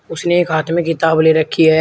उसने एक हाथ में किताब ले रखी है।